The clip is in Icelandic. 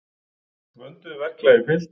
Vönduðu verklagi fylgt.